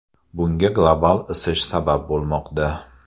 Bunga global isish sabab bo‘lmoqda.